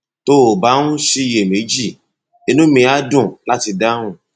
tó o bá ń ṣiyèméjì inú mi á dùn láti dáhùn